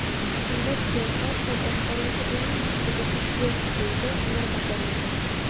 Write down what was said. Unda siyosat va boshqaruvga umuman qiziqish yo‘q”, deydi Nurmagomedov.